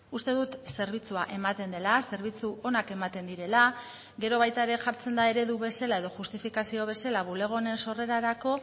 uste dut zerbitzua ematen dela zerbitzu onak ematen direla gero baita ere jartzen da eredu bezala edo justifikazio bezala bulego honen sorrerarako